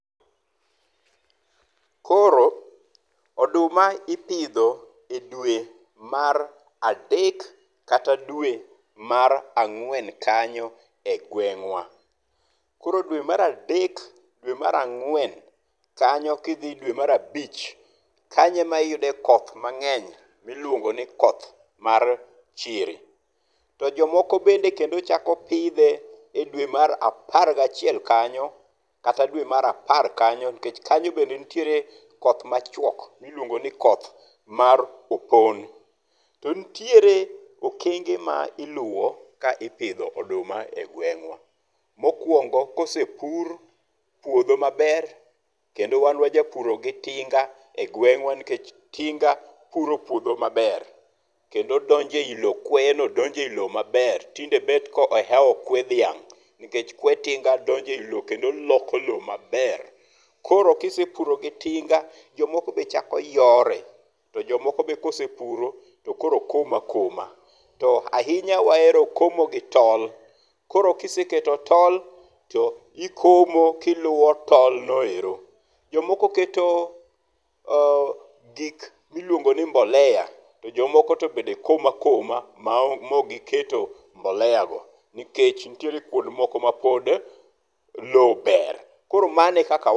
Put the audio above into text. Koro oduma ipidho e dwe mar adek kata dwe mar ang'wen kanyo e gweng' wa. koro dwe mar adek ,dwe mar angwen kanyo ki idhi dwe mar abich kanyo e ma iyudo koth mang'eny ma iluongo ni koth mar chiri to jo moko bende chako pidhe e dwe mar apar ga achiel kanyo kata dwe mar apar kanyo nikech kanyo be nitiere koth ma chwok mi iluongo ni koth mar opon. To niere okenge ma iluwo ka ipidho oduma e gweng' wa. Mokuongo kosepur puodho maber kendo wan wa ja puro gi tinga e gweng' wa nikech tinga puro puodho maber kendo donjo e loo kweye donjo e i loo maber tinde bet ko ohewo kwe dhiang nikech kwe tinga donjo e loo kendo oloko loo maber koro ki isepuro gi tinga jo moko be chako yore to jo moko be kosepuro to komo akoma. To ahinya wahero komo gi tol koro kiseketo tol to ikomo ki iluwo tol no ero, jomoko keto gik mi iluongo ni mbolea to jo moko to bende komo akoma ma ok gi keto mbolea go nikech nitiere kuonde moko ma pod loo ber koro mano e kaka wa.